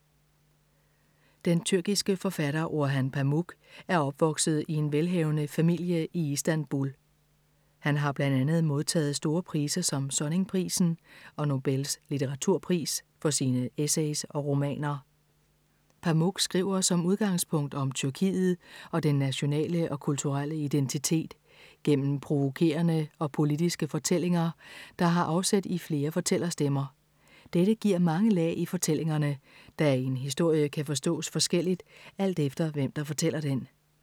Den tyrkiske forfatter Orhan Pamuk er opvokset i en velhavende familie i Istanbul. Han har blandt andet modtaget store priser som Sonningprisen og Nobels litteraturpris for sine essays og romaner. Pamuk skriver som udgangspunkt om Tyrkiet og den nationale og kulturelle identitet, gennem provokerende og politiske fortællinger, der har afsæt i flere fortællerstemmer. Dette giver mange lag i fortællingerne, da en historie kan forstås forskelligt, alt efter hvem, der fortæller den.